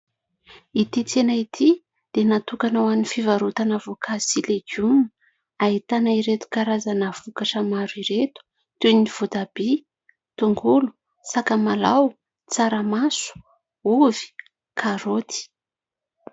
Ity tsena ity dia natokana ho an'ny fivarotana voankazo sy legiona ; ahitana ireto karazana vokatra maro ireto toy ny votabia, tongolo, sakamalao, tsaramaso, ovy, karoty.